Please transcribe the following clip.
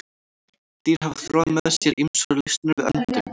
Dýr hafa þróað með sér ýmsar lausnir við öndun.